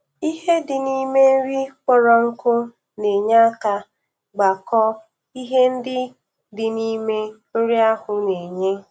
Ihe di n' ime nri kpọrọ nkụ na-enye aka gbakọọ ihe ndị dị n'ime nri ahu na-enye